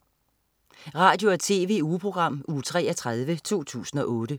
Radio- og TV-ugeprogram Uge 33, 2008